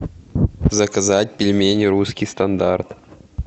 заказать пельмени русский стандарт